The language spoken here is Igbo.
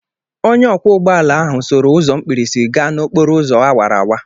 Onye ọkwọ ụgbọ ala ahụ soro ụzọ mkpirisi gaa n'okporo ụzọ awara awara